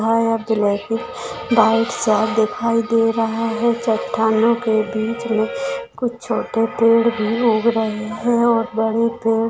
सा दिखाई दे रहा है चट्टानों के बीच मे कुछ छोटे पेड़ भी उग रहे है और बड़े पेड़--